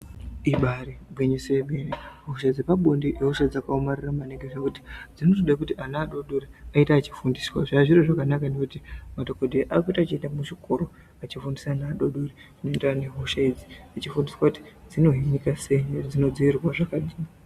Ibari gwinyiso yemene hosha dzepabonde ihosha dzakaomarara maningi zvekuti dzinotoda kuti ana adodori aite achifinduswa zvazviri zviro zvakanaka ngekuti madhokodheya akuita achienda muzvikoro anchifundisa ana adodori maererano nehosha idzi achifundiswa kuti dzinohinika sei uye dzinodzivirirwa zvakadini.